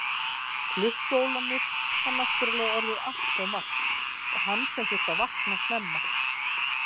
Klukkuólánið var náttúrlega orðin allt of margt og hann sem þurfti að vakna snemma.